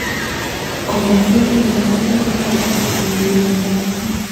Komwa Sane kole koiro taabu kourereni ak ichek